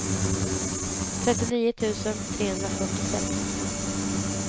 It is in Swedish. trettionio tusen trehundrafyrtiosex